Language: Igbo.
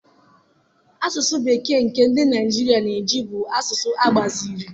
Asụsụ bekee nke ndị Naijiria na-eji bụ asụsụ agbaziri.